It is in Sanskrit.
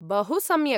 बहुसम्यक्।